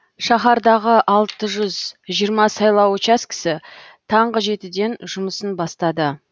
шаһардағы алты жүз жиырма сайлау учаскесі таңғы жетіден жұмысын бастады